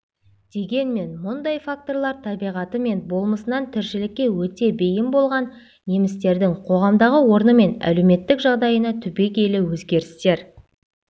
дегенмен мұндай факторлар табиғаты мен болмысынан тіршілікке өте бейім болған немістердің қоғамдағы орны мен әлеуметтік жағдайына түбегейлі өзгерістер